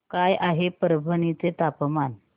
काय आहे परभणी चे तापमान